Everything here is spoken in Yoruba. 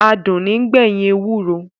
Adùn ní ń gbẹ̀yìn ewúro